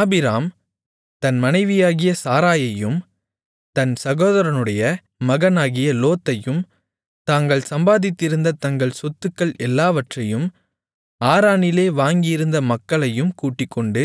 ஆபிராம் தன் மனைவியாகிய சாராயையும் தன் சகோதரனுடைய மகனாகிய லோத்தையும் தாங்கள் சம்பாதித்திருந்த தங்கள் சொத்துக்கள் எல்லாவற்றையும் ஆரானிலே வாங்கியிருந்த மக்களையும் கூட்டிக்கொண்டு